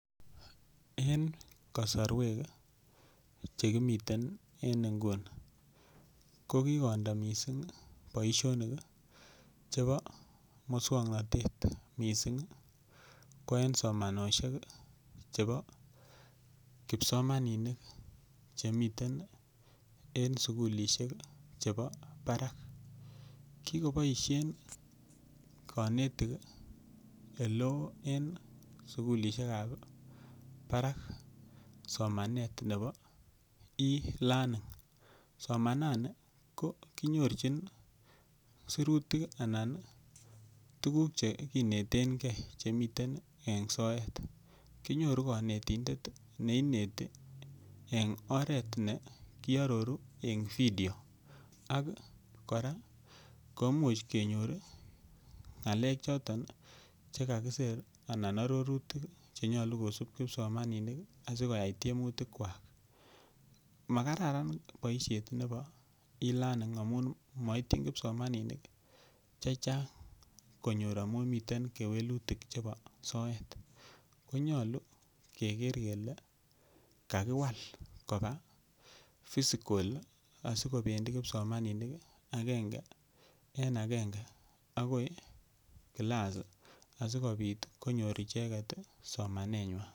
En kosorwek chekimiten en nguni kokikondo missing' boisionik chebo muswoknotet missing' ko en somanosiek chebo kipsomaninik chemiten en sukulisiek chebo barak. Kikoboisien konetik eleo en sukulisiekab barak somanet nebo e-learning, somanani ko kinyorchin sirutik anan ko tuguk chekinetengei chemiten en soet. Kinyoru konetindet ii neineti en oret ne kiororu en video ak kora kemuch kenyor ng'alek choton chekakisir anan ororutik chenyolu kosib kipsomaninik asikoyai tiemutikwak. Makararan boisiet nebo e-learning amun moityin kipsomaninik chechang' konyor amun miten kewelutik chebo soet. Konyolu keker kele kakiwal koba physical asikobendi kipsomaninik agenge en agenge agoi kilas asikobit konyor icheket somanenywan.